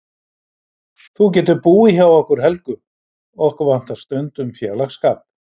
Þú getur búið hjá okkur Helgu, okkur vantar stundum félagsskap.